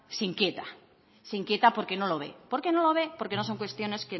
se inquieta se inquieta porque no lo ve por qué no lo ve porque no son cuestiones